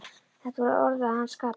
Þetta voru orð að hans skapi.